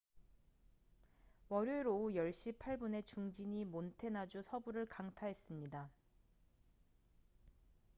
월요일 오후 10시 8분에 중진이 몬태나주 서부를 강타했습니다